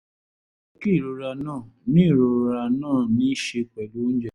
ó yẹ kí ìrora náà ní ìrora náà ní í ṣe pẹ̀lú oúnjẹ